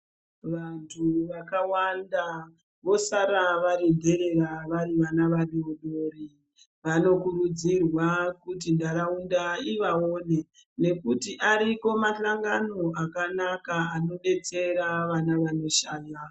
Vantu vakawanda vosara vari nderera vari vana vadodori vanokurudzirwa kuti ndaraunda ivaone nekuti ariko mahlangano akanaka anodetsera vana vanoshaya.